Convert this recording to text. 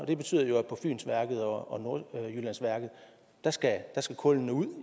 det betyder jo at på fynsværket og nordjyllandsværket skal kul ud